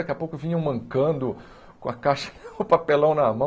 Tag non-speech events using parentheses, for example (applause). Daqui a pouco vinham mancando com a caixa (laughs) o papelão na mão.